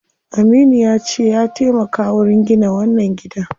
Aminu yace ya taimaka wurin gina wannan gidan.